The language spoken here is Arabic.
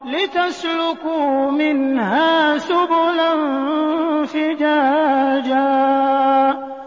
لِّتَسْلُكُوا مِنْهَا سُبُلًا فِجَاجًا